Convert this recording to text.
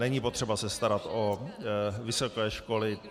Není potřeba se starat o vysoké školy.